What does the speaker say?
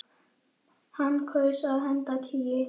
Hann kaus að henda tígli.